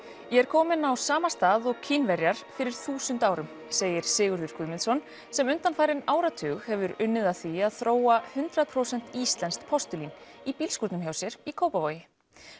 ég er kominn á sama stað og Kínverjar fyrir þúsund árum segir Sigurður Guðmundsson sem undanfarinn áratug hefur unnið að því að þróa hundrað prósent íslenskt postúlín í bílskúrnum hjá sér í Kópavogi